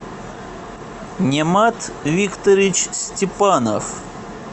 немат викторович степанов